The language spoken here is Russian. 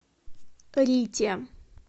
рите